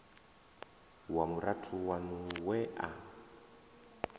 wa murathu waṋu we a